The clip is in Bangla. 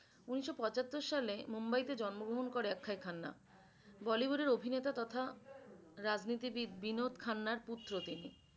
উনিশশো পঁচাত্তর সালে মুম্বাইতে জন্মগ্রহণ করে অক্ষয় খান্না। bollywood এর অভিনেতা তথা রাজনীতিবিদ বিনোদ খান্নার পুত্র তিনি।